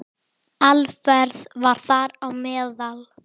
Alfreð var þar á meðal.